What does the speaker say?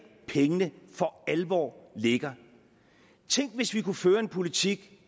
pengene for alvor ligger tænk hvis vi kunne føre en politik